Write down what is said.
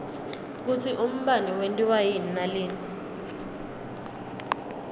kutsi umbane wentiwa yini nalina